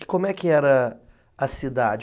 E como é que era a cidade?